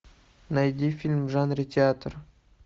найди фильм в жанре театр